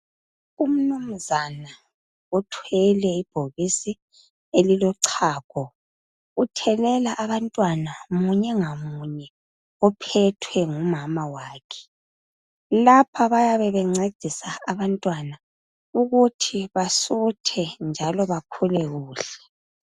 Umnumzana uthwele ibhokisi elilochago. Uthelela abantwana munyengamunye ophethwe ngumama wakhe .Lapha bayabe bencedisa abantwana ukuthi basuthe njalo bakhule kuhle